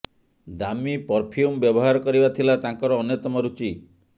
ଦାମୀ ପରଫ୍ୟୁମ ବ୍ୟବହାର କରିବା ଥିଲା ତାଙ୍କର ଅନ୍ୟତମ ରୁଚି